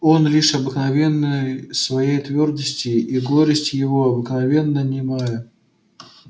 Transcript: он лишился обыкновенной своей твёрдости и горесть его обыкновенно немая